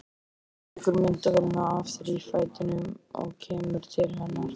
Hann tekur myndavélina af þrífætinum og kemur til hennar.